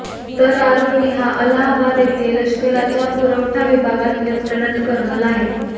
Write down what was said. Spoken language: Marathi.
तर आरोपी हा अलहाबाद येथे लष्कराच्या पुरवठा विभागात लेफ्टनंट कर्नल आहे